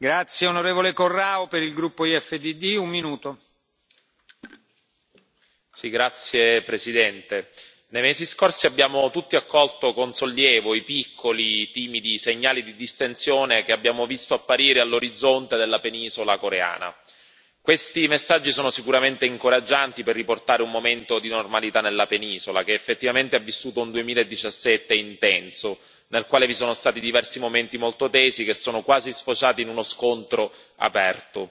Signor Presidente, onorevoli colleghi, nei mesi scorsi abbiamo tutti accolto con sollievo i piccoli, timidi segnali di distensione che abbiamo visto apparire all'orizzonte della penisola coreana. Questi messaggi sono sicuramente incoraggianti per riportare un momento di normalità nella penisola, che effettivamente ha vissuto un 2017 intenso, nel quale vi sono stati diversi momenti molto tesi che sono quasi sfociati in uno scontro aperto.